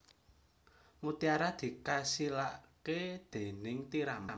Mutiara dikasilaké déning tiram